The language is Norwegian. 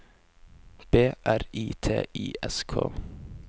B R I T I S K